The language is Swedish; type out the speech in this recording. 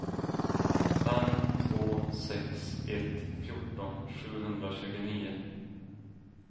fem två sex ett fjorton sjuhundratjugonio